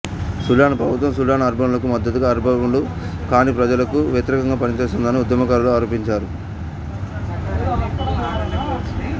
Sudan ప్రభుత్వం Sudan అరబ్బులకు మద్దతుగా అరబ్బులు కాని ప్రజలకు వ్యతిరేకంగా పనిచేస్తుందని ఉద్యమకారులు ఆరోపించారు